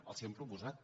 els ho hem proposat